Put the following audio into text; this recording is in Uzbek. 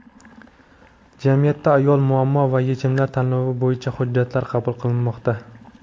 "Jamiyatda ayol: muammo va yechimlar" tanlovi bo‘yicha hujjatlar qabul qilinmoqda.